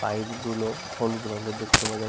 pipe গুলো হলুদ রঙের দেখতে পাওয়া যা --